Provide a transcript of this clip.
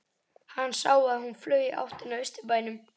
Hann sá að hún flaug í áttina að Austurbænum.